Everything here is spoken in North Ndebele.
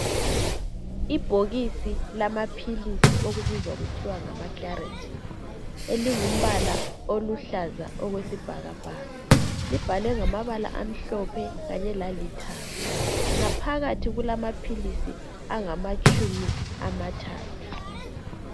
Ibhokisi lamaphilisi elibizwa kuthwa ngama Claritin elingumbala oluhlaza okwesibhakabhaka, libhalwe mgamabala amhlophe kanye lalithanga. Ngaphakathi kulamaphilisi angamatshumi amathathu.